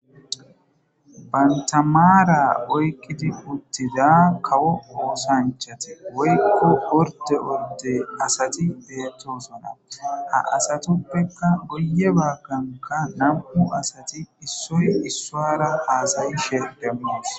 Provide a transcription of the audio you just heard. Bantta maara oyqqidi uttida kawo oosanchati woykko ordde ordde asati beetosona. Ha asatuppe goyye baggankka nam7u asati issoy issuwara haasayishe demmos.